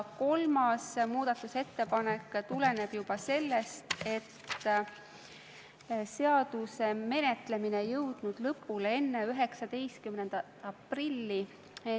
Kolmas muudatusettepanek tuleneb sellest, et seaduse menetlemine ei jõudnud lõpule enne 19. aprilli.